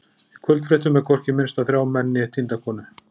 Í kvöldfréttum er hvorki minnst á þrjá menn né týnda konu.